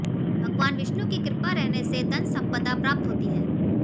भगवान विष्णु की कृपा रहने से धन संपदा प्राप्त होती है